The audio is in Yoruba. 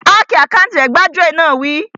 Háki àkáùntì rẹ̀! Gbájúẹ̀ náà wí